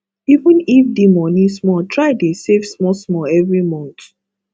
even if di money small try dey save small small every month